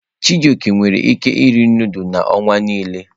Chijioke nwere ike iri nudulu n'ọnwa nile.